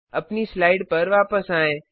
अपनी स्लाइड पर वापस आएँ